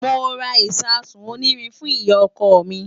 Mo ra ìṣasùn onírin fún ìyá-ọkọ mi.